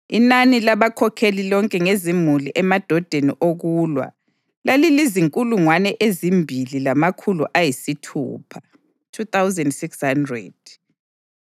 Inani labakhokheli lonke ngezimuli emadodeni okulwa lalizinkulungwane ezimbili lamakhulu ayisithupha (2,600).